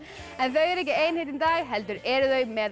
þau eru ekki ein hérna í dag heldur eru þau með